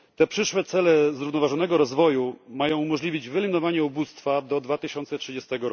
Przyszłe cele zrównoważonego rozwoju mają umożliwić wyeliminowanie ubóstwa do 2030